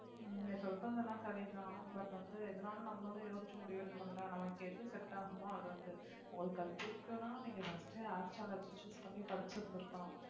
நீங்க சொல்றது எல்லாம் சரிதான் but வந்து எதுனாலும் நம்மளும் யோசிச்சு முடிவு எடுக்கணும்ல நமக்கு எது set ஆகுமோ அது வந்து உங்களுக்கு அது பிடிக்கும்ன்னா நீங்க first ஏ choose பண்ணி படிச்சு இருந்திருக்கணும்